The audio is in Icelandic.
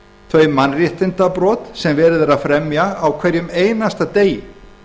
þau mannréttindabrot sem verið er að fremja á hverjum einasta degi